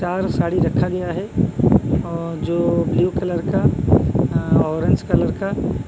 चार साड़ी रखा गया है और जो ब्लू कलर का अह ऑरेंज कलर का।